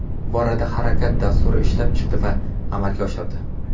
Bu borada Harakat dasturini ishlab chiqdi va amalga oshirdi.